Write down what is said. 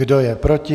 Kdo je proti?